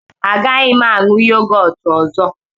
Agaghị m aṅụ yogọt ọzọ.